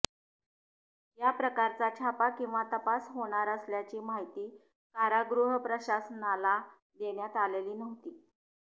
या प्रकारचा छापा किंवा तपास होणार असल्याची माहिती कारागृह प्रशासनाला देण्यात आलेली नव्हती